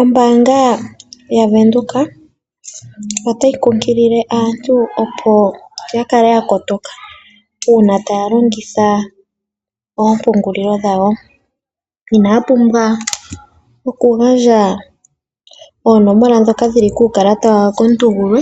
Ombaanga yaVenduka otayi kunkilile aantu opo ya kale ya kotoka uuna taya longitha oompungulilo dhawo . Inaya pumbwa okugandja oonomola ndhoka dhi li kuukalata komuntu gulwe